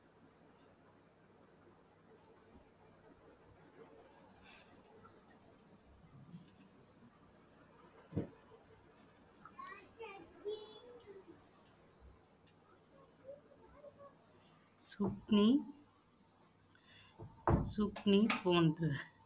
சுக்னி zucchini போன்ற